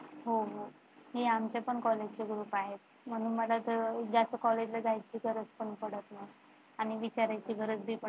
हो हो हे आमच्या पण College चे Group आहेत म्हणून मला जास्त College ला जायची गरज पण पडत नाही आणि विचारायची गरज पण पडत नाही.